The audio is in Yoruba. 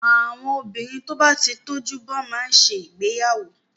Àwọn obìnrin tó bá ti tójú bọ́ má ń ṣe ìgbéyàwó.